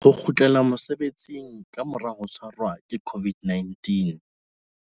Ho kgutlela mosebetsing ka mora ho tshwarwa ke COVID-19